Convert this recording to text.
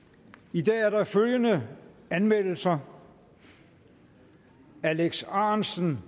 i dag er der følgende anmeldelser alex ahrendtsen